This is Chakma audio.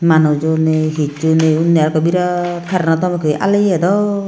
manujo nei hissu nei unni arokko virat curreno tom ekko aaliye dok.